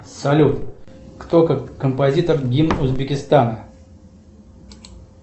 салют кто композитор гимн узбекистана